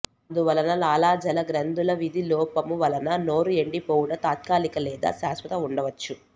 అందువలన లాలాజలగ్రంధుల విధి లోపము వలన నోరు ఎండిపోవుట తాత్కాలిక లేదా శాశ్వత ఉండవచ్చు